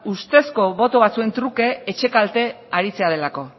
ustezko boto batzuen truke etxe kalte aritzea delako